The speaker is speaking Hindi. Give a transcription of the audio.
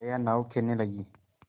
जया नाव खेने लगी